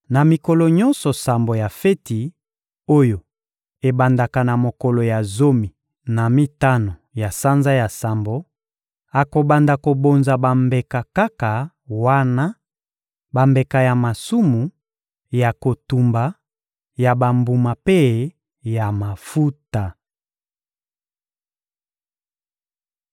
Na mikolo nyonso sambo ya feti oyo ebandaka na mokolo ya zomi na mitano ya sanza ya sambo, akobanda kobonza bambeka kaka wana: bambeka ya masumu, ya kotumba, ya bambuma mpe ya mafuta.